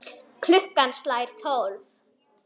Klukkan slær tólf.